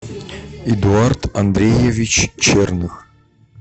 эдуард андреевич черных